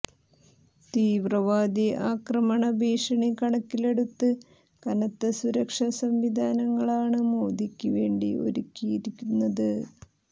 തീവ്രവാദി ആക്രമണ ഭീഷണി കണക്കിലെടുത്ത് കനത്ത സുരക്ഷാ സംവിധാനങ്ങളാണ് മോദിക്ക് വേണ്ടി ഒരുക്കിയിരുന്നത്